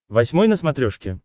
восьмой на смотрешке